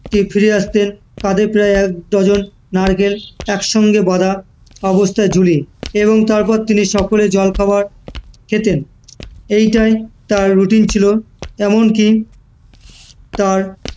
fire আসতেন কাঁধে প্রায় এক dozen নারকেল একসঙ্গে বাধা অবস্থায় ঝুলিয়ে, এবং তারপর তিনি সকালের জলখাবার খেতেন, এটাই তার routine ছিল, এমনকি তার